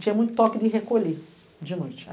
Tinha muito toque de recolher de noite.